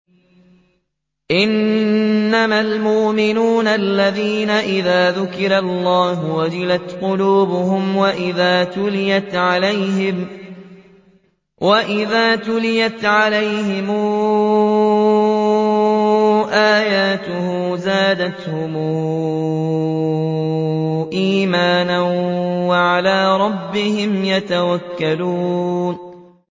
إِنَّمَا الْمُؤْمِنُونَ الَّذِينَ إِذَا ذُكِرَ اللَّهُ وَجِلَتْ قُلُوبُهُمْ وَإِذَا تُلِيَتْ عَلَيْهِمْ آيَاتُهُ زَادَتْهُمْ إِيمَانًا وَعَلَىٰ رَبِّهِمْ يَتَوَكَّلُونَ